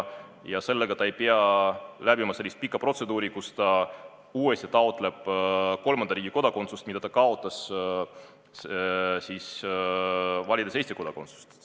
Ja siis ta ei pea läbima sellist pikka protseduuri, kus ta uuesti taotleb kolmanda riigi kodakondsust, mille ta kaotas siis, kui valis Eesti kodakondsuse.